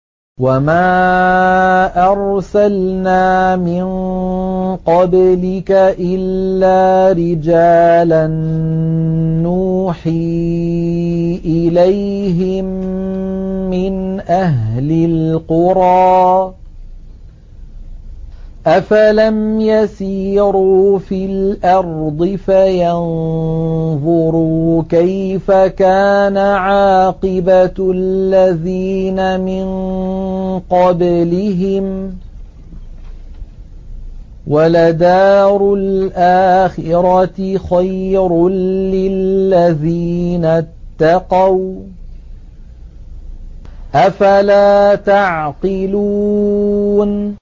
وَمَا أَرْسَلْنَا مِن قَبْلِكَ إِلَّا رِجَالًا نُّوحِي إِلَيْهِم مِّنْ أَهْلِ الْقُرَىٰ ۗ أَفَلَمْ يَسِيرُوا فِي الْأَرْضِ فَيَنظُرُوا كَيْفَ كَانَ عَاقِبَةُ الَّذِينَ مِن قَبْلِهِمْ ۗ وَلَدَارُ الْآخِرَةِ خَيْرٌ لِّلَّذِينَ اتَّقَوْا ۗ أَفَلَا تَعْقِلُونَ